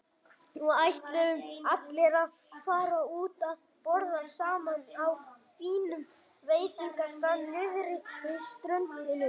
Nú ætluðu allir að fara út að borða saman á fínum veitingastað niðri við ströndina.